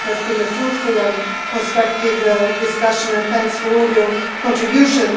I think it has been a fruitful and constructive discussion, and thanks for all your contributions.